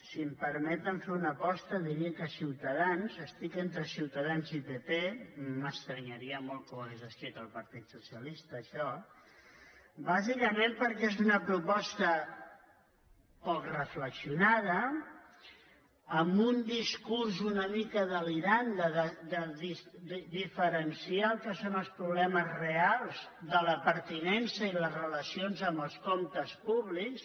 si em permeten fer una aposta diria que ciutadans estic entre ciutadans i pp m’estranyaria molt que ho hagués escrit el partit socialista això bàsicament perquè és una proposta poc reflexionada amb un discurs una mica delirant de diferenciar el que són els problemes reals de la pertinença i les relacions amb els comptes públics